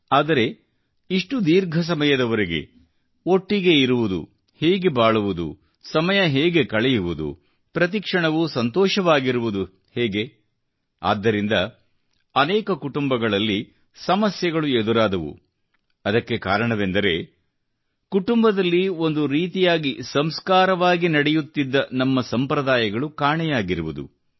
ಆದರೆ ಇಷ್ಟು ದೀರ್ಘ ಸಮಯದವರೆಗೆ ಒಟ್ಟಿಗೆ ಇರುವುದು ಹೇಗೆ ಬಾಳುವುದು ಸಮಯ ಹೇಗೆ ಕಳೆಯುವುದು ಪ್ರತಿ ಕ್ಷಣವೂ ಸಂತೋಷವಾಗಿರುವುದು ಹೇಗೆ ಆದ್ದರಿಂದ ಅನೇಕ ಕುಟುಂಬಗಳಲ್ಲಿ ಸಮಸ್ಯೆಗಳು ಎದುರಾದವು ಅದಕ್ಕೆ ಕಾರಣವೆಂದರೆ ಕುಟುಂಬದಲ್ಲಿ ಒಂದೇ ರೀತಿಯಾಗಿ ಸಂಸ್ಕಾರ ಪರವಾಗಿ ನಡೆಯುತ್ತಿದ್ದ ನಮ್ಮ ಸಂಪ್ರದಾಯಗಳು ಕಾಣೆಯಾಗಿರುವುದು